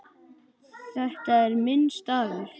Þetta er minn staður.